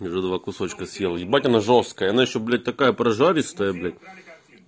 и уже два кусочка съел ебать она жёсткая она ещё блять такая прожаристая блять